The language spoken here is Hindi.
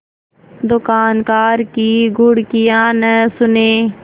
दुकानदार की घुड़कियाँ न सुने